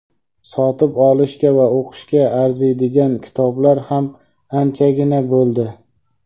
sotib olishga va o‘qishga arziydigan kitoblar ham anchagina bo‘ldi.